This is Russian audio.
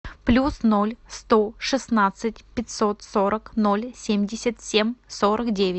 плюс ноль сто шестнадцать пятьсот сорок ноль семьдесят семь сорок девять